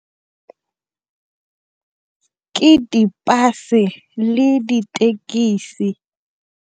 ke di-bus-e le dithekisi.